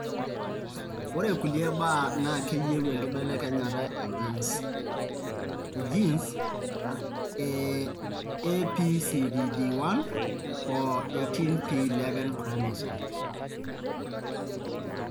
ore kulie baa naa keyau enkibelekenyata e genes e APCDD1 o 18p11 chromosome.